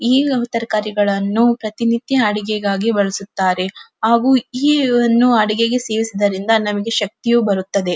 ಈಗವ ತರಕಾರಿಗಳನ್ನು ಪ್ರತಿನಿತ್ಯ ಅಡಿಗೆಗಾಗಿ ಬಳಸುತ್ತಾರೆ ಹಾಗು ಇವನ್ನು ಅಡಿಗೆಗೆ ಸೇವಿಸುವುದರಿಂದ ನಮ್ಮಗೆ ಶಕ್ತಿಯು ಬರುತ್ತದೆ.